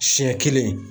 Siɲɛ kelen